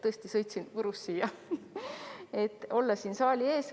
Tõesti, sõitsin Võrust kohale, et olla siin saali ees.